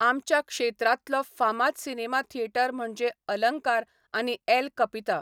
आमच्या क्षेत्रांतलो फामाद सिनेमा थिएटर म्हणजे अलंकार आनी एल कपिता.